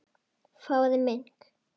Fáðu mink.